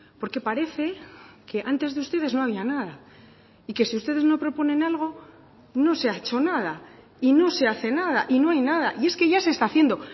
porque parece que antes de ustedes no había nada y que si ustedes no proponen algo no se ha hecho nada y no se hace nada y no hay nada y es que ya se está haciendo